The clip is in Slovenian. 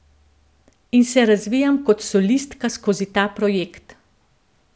In se razvijam kot solistka skozi ta projekt.